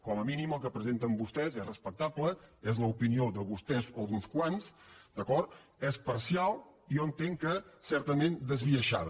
com a mínim el que presenten vostès és respectable és l’opinió de vostès o d’uns quants d’acord és parcial i jo entenc que certament esbiaixada